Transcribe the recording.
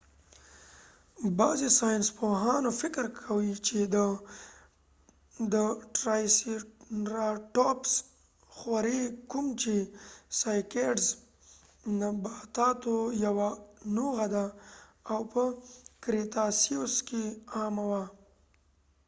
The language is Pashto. بعضی ساینسپوهان فکر کوي چې د triceratops ټرایسیریپټاپس سایکېډزcycads خوری، کوم چې د نباتاتو یوه نوعه ده او په کریتاسیوس cretaceous کې عامه وه